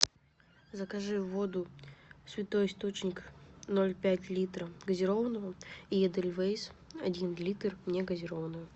закажи воду святой источник ноль пять литра газированную и эдельвейс один литр негазированную